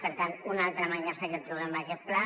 per tant una altra mancança que trobem en aquest pla